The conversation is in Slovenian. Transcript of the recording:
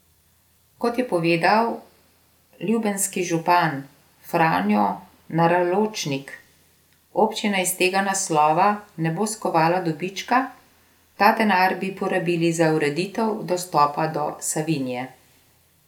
Kot je povedal ljubenski župan Franjo Naraločnik, občina iz tega naslova ne bo skovala dobička, ta denar bi porabili za ureditev dostopa do Savinje.